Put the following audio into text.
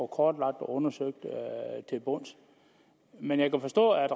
kortlagt og undersøgt til bunds men jeg kan forstå at